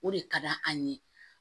O de ka d'an ye